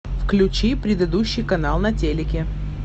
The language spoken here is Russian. включи предыдущий канал на телике